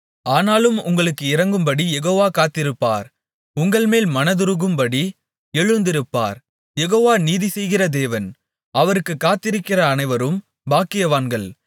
ஆனாலும் உங்களுக்கு இரங்கும்படி யெகோவா காத்திருப்பார் உங்கள்மேல் மனதுருகும்படி எழுந்திருப்பார் யெகோவா நீதிசெய்கிற தேவன் அவருக்குக் காத்திருக்கிற அனைவரும் பாக்கியவான்கள்